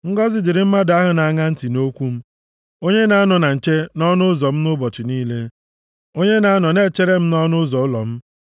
Ngọzị dịrị mmadụ ahụ na-aṅa ntị nʼokwu m, onye na-anọ na nche nʼọnụ ụzọ m ụbọchị niile, onye na-anọ na-echere m nʼọnụ ụzọ ụlọ m;